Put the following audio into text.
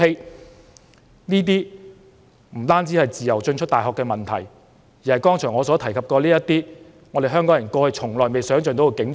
主席，這些情況不單涉及人們能否自由進出大學的問題，更關於我剛才所提及的那種香港人過去從未想象過的景象。